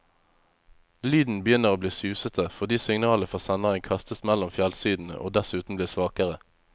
Lyden begynner bli susete, fordi signalet fra senderen kastes mellom fjellsidene og dessuten blir svakere.